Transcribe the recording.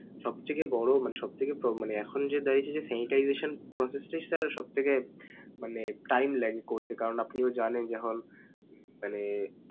সব থেকে বড় মান~ সব থেকে প্র~ এখন যে দেখা গেছে যে sanitization process টাই sir সবথেকে মানে time লাগে করতে কারণ আপনিও জানেন যখন মানে।